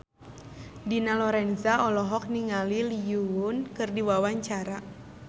Dina Lorenza olohok ningali Lee Yo Won keur diwawancara